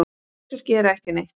Kisur gera ekki neitt.